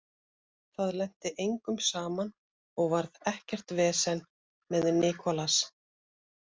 Það lenti engum saman og varð ekkert vesen með Nicolas.